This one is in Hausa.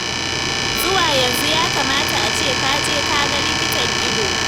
Zuwa yanzu ya kamata a ce ka je ka ga likitan ido.